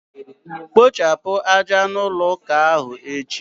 Kpochapụ aja n' ụlọ ụka ahụ echi!